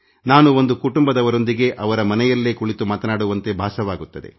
ನಾನು ಒಂದು ಕುಟುಂಬದವರೊಂದಿಗೆ ಅವರ ಮನೆಯಲ್ಲೇ ಕುಳಿತು ಮಾತನಾಡುವಂತೆ ಭಾಸವಾಗುತ್ತದೆ